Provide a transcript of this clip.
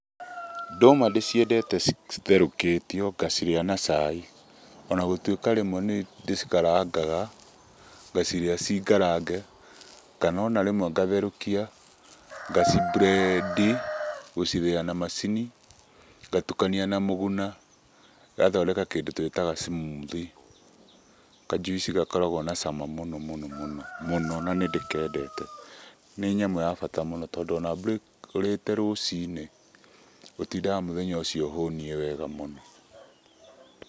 Ndũma ndĩciendete citherũkĩtio ngacirĩa na cai. Ona gũtuĩka rĩmwe nĩ ndĩcikarangaga, ngacirĩa cirĩ ngarange. Kana ona rĩmwe ngacitherũkia ngacimburendi, gũcithĩya na macini, ngatukania na mũguna ngathondeka kĩndũ twĩtaga smoothie kajuici gakoragwo na cama mũno mũno na nĩndĩkendete. Nĩ nyamũ ya bata mũno tondũ ona ũrĩte rũcinĩ ũtindaga mũthenya ũcio ũhũnie wega mũno.